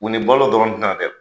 U ni balolɔ dɔrɔn ti na dɛ!